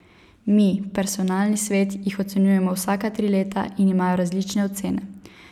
Mi, personalni svet, jih ocenjujemo vsaka tri leta in imajo različne ocene.